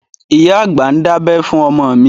Ìyá àgbà ń dábẹ́ fún ọmọ mi